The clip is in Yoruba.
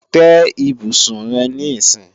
Tẹ́ ibùsùn rẹ níìsín!